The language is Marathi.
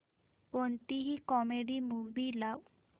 कोणतीही कॉमेडी मूवी लाव